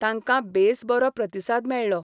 तांकां बेस बरो प्रतिसाद मेळ्ळो.